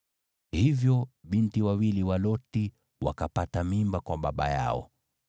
Hivyo binti wawili wa Loti wakapata mimba kwa baba yao.